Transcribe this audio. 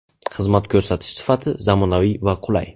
Xizmat ko‘rsatish sifati zamonaviy va qulay.